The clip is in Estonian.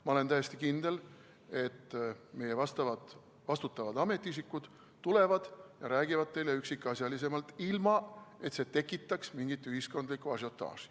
Ma olen täiesti kindel, et meie vastutavad ametiisikud tulevad ja räägivad teile üksikasjalisemalt, ilma et see tekitaks mingit ühiskondlikku ažiotaaži.